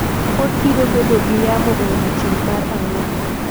pod biro bedo gi yamo e odiechieng' mar ang'wen